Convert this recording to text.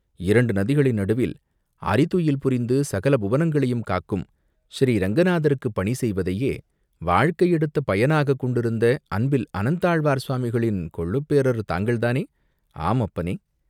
இரண்டு நதிகளின் நடுவில் அறிதுயில் புரிந்து சகல புவனங்களையும் காக்கும் ஸ்ரீ ரங்கநாதருக்குப் பணி செய்வதையே வாழ்க்கை எடுத்த பயனாகக் கொண்டிருந்த அன்பில் அனந்தாழ்வார் சுவாமிகளின் கொள்ளுப்பேரர் தாங்கள் தானே?" "ஆம் அப்பனே?